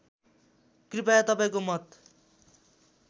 कृपया तपाईँको मत